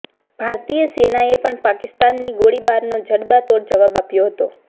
ભારતીય સેનાએ પણ પાકિસ્તાની ગોળીબારનો જડબાતોડ જવાબ આપ્યો હતો